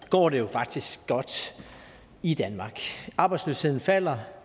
går det jo faktisk godt i danmark arbejdsløsheden falder